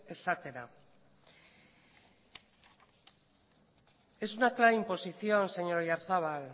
esatera es una clara imposición señor oyarzabal